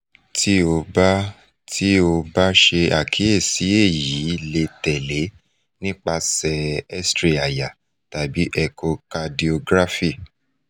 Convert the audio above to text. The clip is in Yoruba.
ti o ba ti o ba ṣe pataki eyi le tẹle nipasẹ xray àyà tabi echocardiography